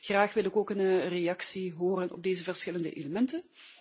Graag wil ik ook een reactie horen op deze verschillende elementen.